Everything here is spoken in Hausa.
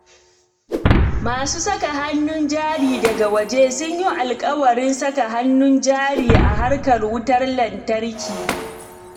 Masu saka hannun jari daga waje sun yi alƙawarin saka hannun jari a harkar wutar lantarki.